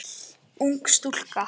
Ung stúlka.